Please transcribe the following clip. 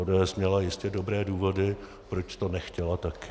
ODS měla jistě dobré důvody, proč to nechtěla také.